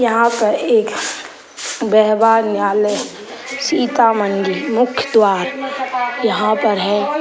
यहाँ पर एक व्यवहार न्यायालय सीता मंदिर मुख्य द्वार यहाँ पर है |